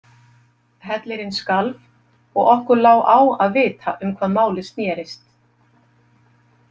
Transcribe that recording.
Hellirinn skalf, og okkur lá á að vita um hvað málið snerist.